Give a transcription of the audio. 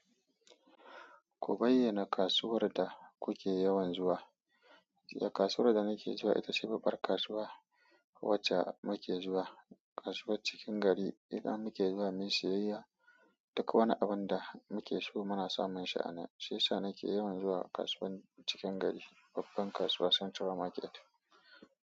Ku bayyana kasuwar da kuke yawan zuwa. Kasuwar da nake zuwa ita ce babbar kasuwa wacce muke zuwa kasuwar cikin gari ita muke zuwa muyi siyayya. Duka wani abun da muke so muna samun shi a nan. Shiyasa nake yawan zuwa kasuwa cikin gari babban kasuwa central market.